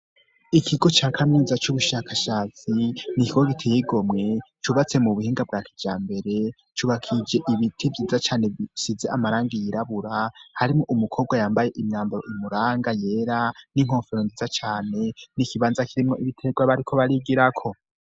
Ikigo ca kamyiza cy'ubushakashatsi nikikogite yigomwe cubatse mu buhinga bwakibya mbere cyubakije ibiti byiza cane bisize amaranga yirabura harimo umukobwa yambaye imyambaro imuranga yera n'inkofero ndiza cane niikibanza kirimo ibitegwa bariko barigira ko.